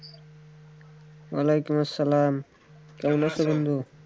ওয়ালাইকুম আসালাম কেমন আছেন বন্ধু?